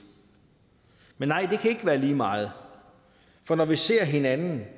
men nej det kan ikke være lige meget for når vi ser hinanden